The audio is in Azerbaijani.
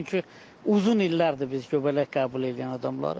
Çünki uzun illərdir biz göbələk qəbul eləyən adamlarıq.